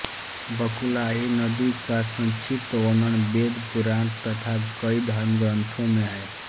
बकुलाही नदी का संक्षिप्त वर्णन वेद पुराण तथा कई धर्मग्रंथों में है